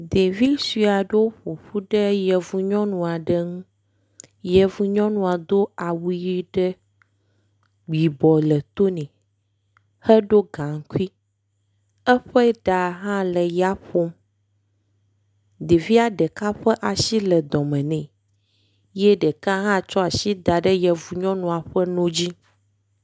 Ɖevi sue aɖewo ƒoƒu ɖe yevu nyɔnu aɖe ŋu. yevu nyɔnua do awu ʋi ɖe yibɔ le to nɛ. Xe ɖo gaŋkui. Eƒe ɖa hã le yaƒom. Ɖevia ɖeka ƒe asi le dɔme nɛ ye ɖeka hã tsɔ asi da ɖe yevu nyɔnua ƒe no dzi.